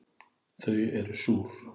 Þau eru súr